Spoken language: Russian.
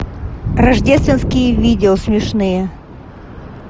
рождественские видео смешные